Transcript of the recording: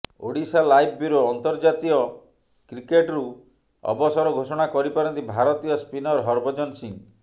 Odisha live bureau ଅନ୍ତର୍ଜାତୀୟ କ୍ରିକେଟରୁ ଅବସର ଘୋଷଣା କରିପାରନ୍ତି ଭାରତୀୟ ସ୍ପିନର ହରଭଜନ ସିଂହ